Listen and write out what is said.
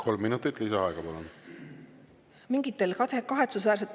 Kolm minutit lisaaega, palun!